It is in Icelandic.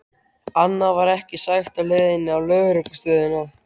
Annað var ekki sagt á leiðinni á lögreglustöðina.